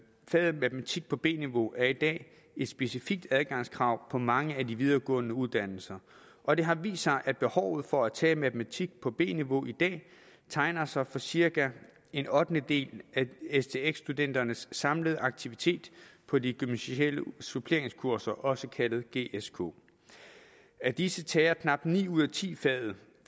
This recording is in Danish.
faget matematik på b niveau er i dag et specifikt adgangskrav på mange af de videregående uddannelser og det har vist sig at behovet for at tage matematik på b niveau i dag tegner sig for cirka en ottendedel af stx studenternes samlede aktivitet på de gymnasiale suppleringskurser også kaldet gsk af disse tager knap ni ud af ti faget